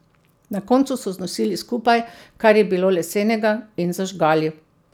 Na koncu so znosili skupaj, kar je bilo lesenega, in zažgali.